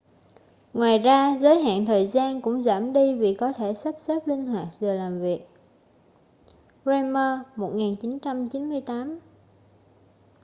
ngoài ra giới hạn thời gian cũng giảm đi vì có thể sắp xếp linh hoạt giờ làm việc. bremer 1998